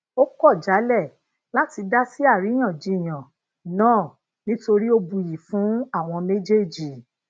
ó kò jálè láti dasi àríyànjiyàn náà nítorí o buyi fún àwọn méjèèjì